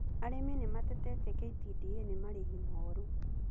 Arĩmi nĩ matetetie KTDA nĩ marĩhi moru.